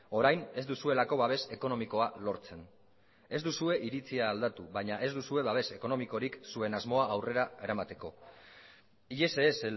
orain ez duzuelako babes ekonomikoa lortzen ez duzue iritzia aldatu baina ez duzue babes ekonomikorik zuen asmoa aurrera eramateko y ese es